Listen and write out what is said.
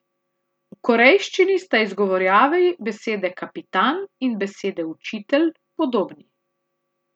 V korejščini sta izgovorjavi besede kapitan in besede učitelj podobni.